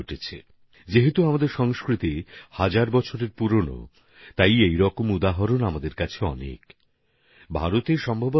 আমাদের সংস্কৃতিও যেহেতু হাজার হাজার বছর প্রাচীন তাই আমাদের এখানে এর বিস্তৃতি অনেক বেশি মাত্রায় দেখতে পাওয়া যায়